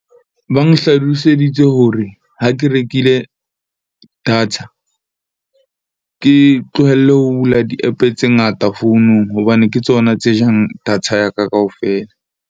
Ba nhlaloseditse hore ha ke rekile data, ke tlohelle ho bula di-app-e tse ngata founung hobane ke tsona tse jang data ya ka kaofela.